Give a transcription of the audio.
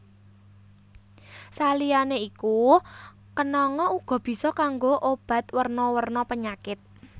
Saliyané iku kenanga uga bisa kanggo obat werna werna penyakit